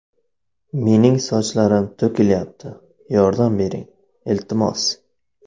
Mening sochlarim to‘kilyapti, yordam bering, iltimos!.